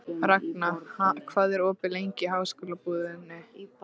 Ragna, hvað er opið lengi í Háskólabúðinni?